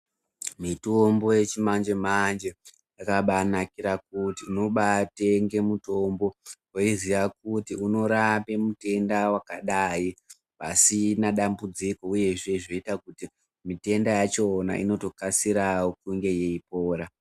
Mitombo yechimanje manje yakabaanakira kuti unobaatenga mutombo weiziya kuti unorapa mutenda wakadai. Pasina dambudziko uyezve zvoita kuti mitenda yachona inotokasirawo kunge yeipora.